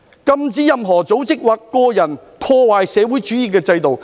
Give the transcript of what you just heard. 禁止任何組織或者個人破壞社會主義制度。